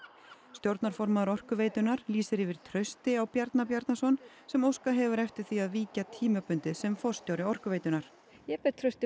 stjórnarformaður Orkuveitunnar lýsir yfir trausti á Bjarna Bjarnason sem óskað hefur eftir því að víkja tímabundið sem forstjóri Orkuveitunnar ég ber traust til